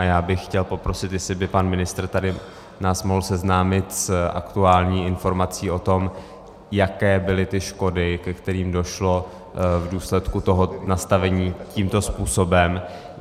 A já bych chtěl poprosit, jestli by pan ministr tady nás mohl seznámit s aktuální informací o tom, jaké byly ty škody, ke kterým došlo v důsledku toho nastavení tímto způsobem.